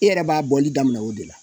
I yɛrɛ b'a bɔli daminɛ o de la